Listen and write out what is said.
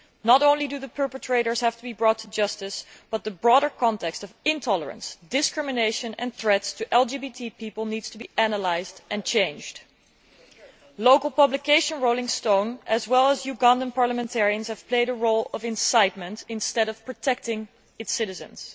Not only do the perpetrators have to be brought to justice, but the broader context of intolerance, discrimination and threats to LGBT people needs to be analysed, and changed. Local publication Rolling Stone and Ugandan parliamentarians have played a role of incitement rather than one of protecting citizens.